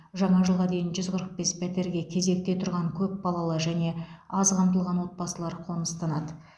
жаңа жылға дейін жүз қырық бес пәтерге кезекте тұрған көпбалалы және аз қамтылған отбасылар қоныстанады